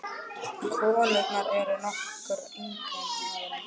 Konurnar eru nokkru yngri en maðurinn.